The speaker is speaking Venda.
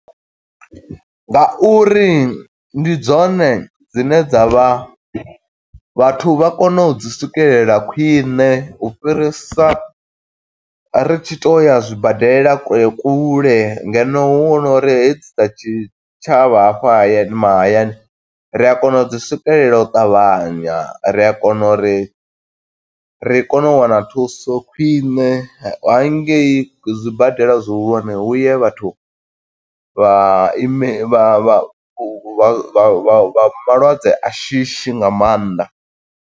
Nga uri ndi dzone dzine dza vha vhathu vha kone u dzi swikelela khwiṋe u fhirisa ri tshi tou ya zwibadela kule kule ngeno hu no uri hedzi dza tshitshavha hafha hayani mahayani, ri a kona u dzi swikelela u ṱavhanya ri a kona uri ri kone u wana thuso khwiṋe, ha ngei zwibadela zwihulwane huye vhathu vha ime vha vha vha malwadze a shishi nga maanḓa.